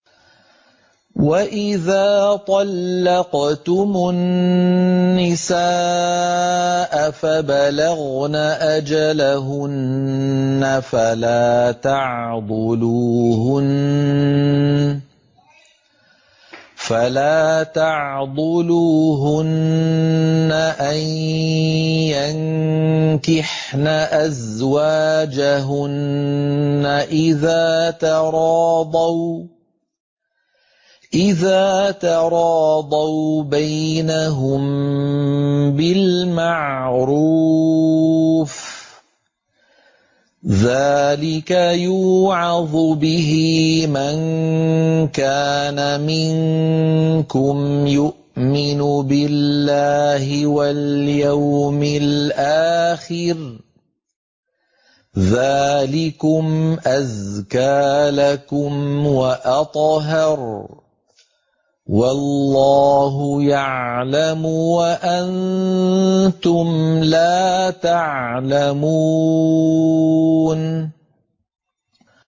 وَإِذَا طَلَّقْتُمُ النِّسَاءَ فَبَلَغْنَ أَجَلَهُنَّ فَلَا تَعْضُلُوهُنَّ أَن يَنكِحْنَ أَزْوَاجَهُنَّ إِذَا تَرَاضَوْا بَيْنَهُم بِالْمَعْرُوفِ ۗ ذَٰلِكَ يُوعَظُ بِهِ مَن كَانَ مِنكُمْ يُؤْمِنُ بِاللَّهِ وَالْيَوْمِ الْآخِرِ ۗ ذَٰلِكُمْ أَزْكَىٰ لَكُمْ وَأَطْهَرُ ۗ وَاللَّهُ يَعْلَمُ وَأَنتُمْ لَا تَعْلَمُونَ